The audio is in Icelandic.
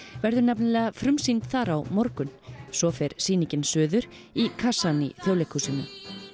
verður nefnilega frumsýnd þar á morgun svo fer sýningin suður í kassann í Þjóðleikhúsinu